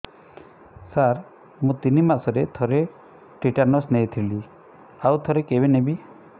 ସାର ମୁଁ ତିନି ମାସରେ ଥରେ ଟିଟାନସ ନେଇଥିଲି ଆଉ ଥରେ କେବେ ନେବି